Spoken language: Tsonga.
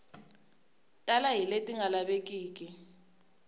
tala hi leti nga lavekiki